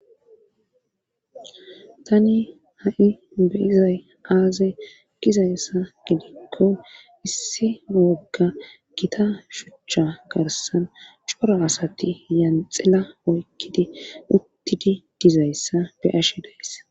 Tani ha'i beyizay aaze gizayssa gidikko issi wogga gita shuchcha garsan coro asati yanxila oykkidi uttidi dizayssa be ashe days